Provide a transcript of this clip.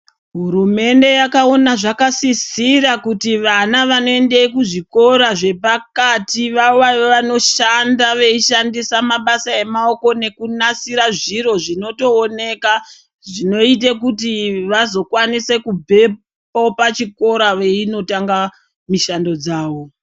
Hurumende yakaona zvakasisira kuti vana vanoenda kuzvikora zvepakati vava vanoshanda veishandisa mabasa emaoko nekunasira zviro zvinotooneka zvinoite kuti vazokwanise kubvepo pachikora veinotanga mishando dzawo.